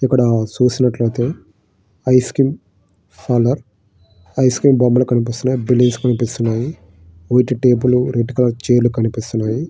ఇక్కడ చూసినట్లు అయితే ice cream parlour . Ice cream బొమ్మలు కనిపిస్తున్నాయి. బలూన్స్ కనిపిస్తున్నాయి. White table red colour chair కనిపిస్తున్నాయి.